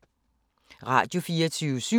Radio24syv